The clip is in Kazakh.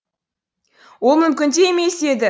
ол мүмкін де емес еді